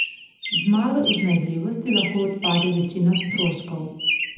Z malo iznajdljivosti lahko odpade večina stroškov.